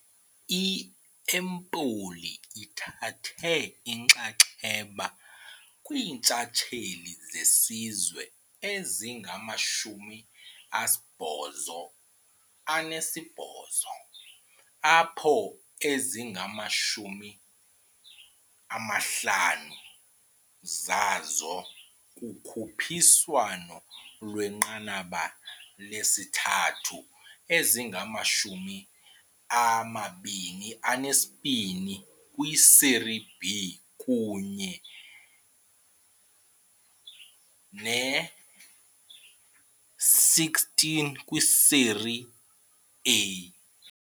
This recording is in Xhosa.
I-Empoli ithathe inxaxheba kwiintshatsheli zesizwe ezingama-88 apho ezingama-50 zazo kukhuphiswano lwenqanaba lesithathu, ezingama-22 kwiSerie B kunye ne-16 kwiSerie A.